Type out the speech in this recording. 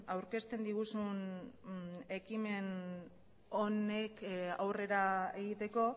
aurkezten diguzun ekimen honek aurrera egiteko